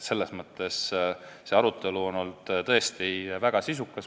Selles mõttes on see arutelu olnud tõesti väga sisukas.